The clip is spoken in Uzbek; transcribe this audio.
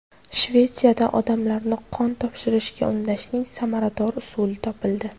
Shvetsiyada odamlarni qon topshirishga undashning samarador usuli topildi.